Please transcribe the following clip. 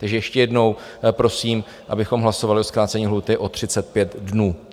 Takže ještě jednou prosím, abychom hlasovali o zkrácení lhůty o 35 dnů.